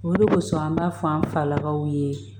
Olu kosɔn an b'a fɔ an falakaw ye